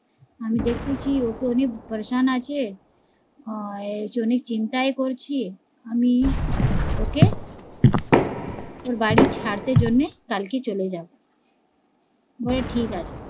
আমি দেখতেছি ওকে অনেক পেরেশান আছে অনেক চিন্তায় পড়েছি, আমি ওকে ওর বাড়ি ছাড়তে জন্যে কালকে চলে যাবো, বলে ঠিকাছে